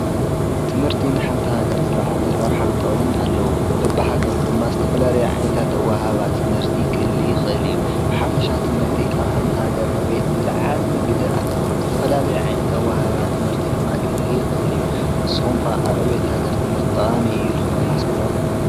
ትምህርቲ ንሓንታ ገር ዘለዓለ ራውኃንጠምን ኣለዉ በብሃገሩ ድማ ዝተፈላል ዓይንታተውሃባ ትምህርቲ ክህሊ ኽእል እዩ። ብሓፍሻ ትምህርቲ ኣብ ሓንታ ገር ዕቤት ዘለዓል ግደ ኣለዉ ዝተፈላለይ ዓይንት ኣወሃባ ትምህርቲ ድማ ክህሊ ኽእል እዩ ንስኹምካ ኣብ ዕቤት ገር ትምህርቲ ጠቓሚ እዩ ኢልኹም ተሓስብዶ?